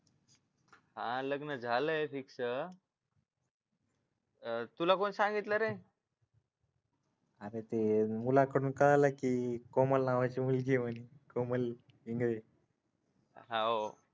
हा लग्न झालंय फिक्स तुला कोणी सांगितलं रे अरे ते मुलाकडून कळालं की कोमल नावाची मुलगी आहे म्हणे कोमल इंगळे हाव